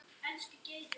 Marta Sonja.